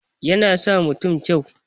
Yana sa mutun kyau